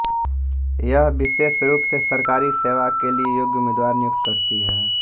यह विशेष रूप से सरकारी सेवा के लिए योग्य उम्मीदवार नियुक्त करती है